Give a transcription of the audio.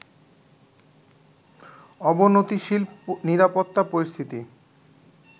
অবনতিশীল নিরাপত্তা পরিস্থিতি